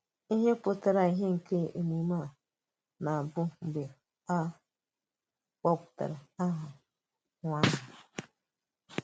Íhe pụtara ìhè nke emume à na-abịa mgbe a kpọpụtara aha kpọpụtara aha nwa ahụ.